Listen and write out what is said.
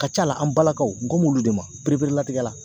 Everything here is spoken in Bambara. A Ka ca la, an balakaw, n kan b'olu de ma pereperlatigɛ la.